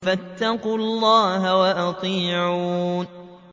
فَاتَّقُوا اللَّهَ وَأَطِيعُونِ